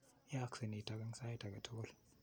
Yaakse nitok sait ake tukul.